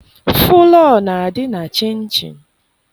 Fụlọọ na-adị na chịnchịn.